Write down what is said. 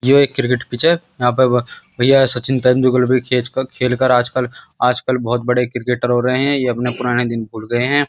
यो एक cricket pitch यहाँ पर भइया सचिन तेंदुलकर भी खेच खेलकर आजकल आजकल बहौत बड़े क्रिकेटर हो रहे हैं ये अपने पुराने दिन भूल गए हैं।